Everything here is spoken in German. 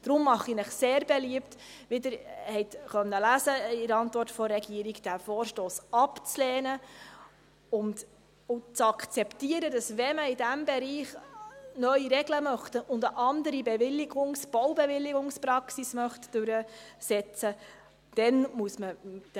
Daher mache ich Ihnen sehr beliebt – wie Sie in der Antwort der Regierung lesen konnten –, diesen Vorstoss abzulehnen und zu akzeptieren, dass man mit den National- und Ständeräten reden müsste, wenn man in diesem Bereich neue Regeln und eine andere Baubewilligungspraxis durchsetzen möchte.